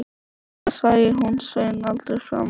Sennilega sæi hún Svein aldrei framar.